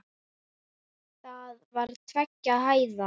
Það var tveggja hæða.